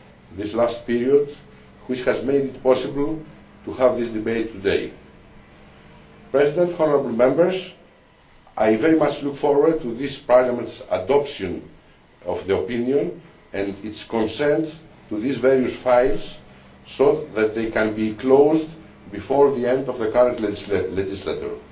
this last period which has made it possible to have this debate today. I very much look forward to this Parliamentʼs adoption of the opinion and its consent to these various files so that they can be closed before the end of the current legislature.